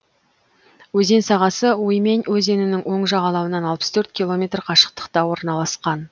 өзен сағасы уймень өзенінің оң жағалауынан алпыс төрт километр қашықтықта орналасқан